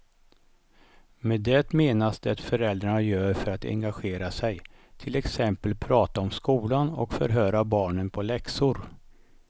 Med det menas det föräldrarna gör för att engagera sig, till exempel prata om skolan och förhöra barnen på läxor.